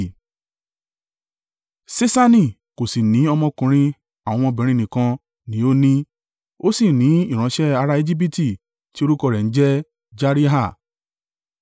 Ṣeṣani kò sì ní ọmọkùnrin àwọn ọmọbìnrin nìkan ni ó ní. Ó sì ní ìránṣẹ́ ará Ejibiti tí orúkọ rẹ̀ ń jẹ́ Jariha.